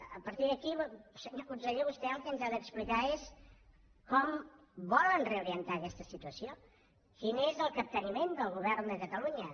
a partir d’aquí senyor conseller vostè el que ens ha d’explicar és com volen reorientar aquesta situació quin és el capteniment del govern de catalunya